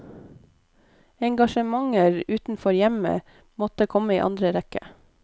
Engasjementer utenfor hjemmet måtte komme i annen rekke.